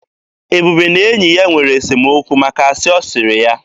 Ebube na enyi ya nwere esemokwu maka asị ọ sịrị ya.